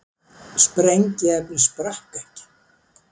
Sprengiefnið sprakk ekki